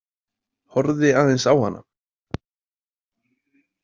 Horfði aðeins á hana.